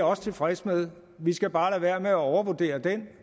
også tilfreds med vi skal bare lade være med at overvurdere den